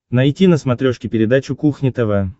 найти на смотрешке передачу кухня тв